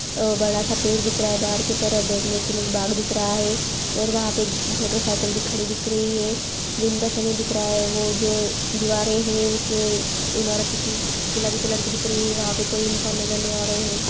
और बड़ा सा पैड दिख रहा है बहार की तरफ बेठने के लिए एक बाग दिख रहा है और वह पे एक मोटरसाइकिल भी खड़ी दिख रही है दिन का समय दिख रहा है वो जो दिवारे है उस इमारत की गुलाबी कलर की दिख रही है वह पे कोई इंसान नजर नहीं आ रहे है।